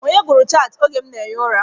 Onye gụrụ chantị oge m na-ehi ụra?